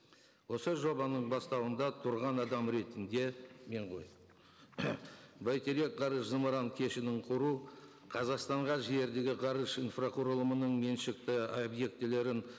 осы жобаның бастауында тұрған адам ретінде мен ғой бәйтерек ғарыш зымыран кешенін құру қазақстанға жердегі ғарыш инфрақұрылымының меншікті объектілерін